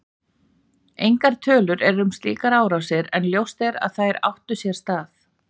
Engar tölur eru um slíkar árásir en ljóst að þær áttu sér stað.